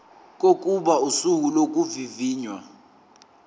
kokuba usuku lokuvivinywa